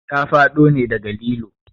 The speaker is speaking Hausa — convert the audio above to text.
Ta faɗo ne daga lilo